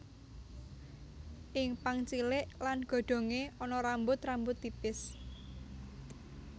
Ing pang cilik lan godhongé ana rambut rambut tipis